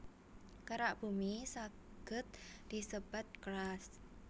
Kerak Bumi saged disebat crust